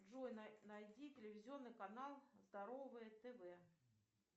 джой найди телевизионный канал здоровое тв